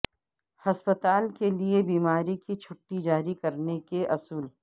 ہسپتال کے لئے بیماری کی چھٹی جاری کرنے کے اصول